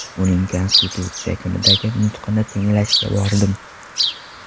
Uning... Konstitutsiya kunidagi nutqini tinglashga bordim.